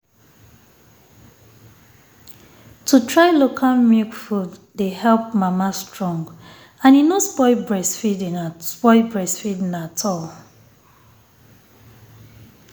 to try local milk food dey help mama strong and e no spoil breastfeeding at spoil breastfeeding at all